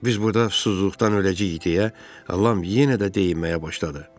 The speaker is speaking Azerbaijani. Biz burda susuzluqdan öləcəyik deyə Ram yenə də deyinməyə başladı.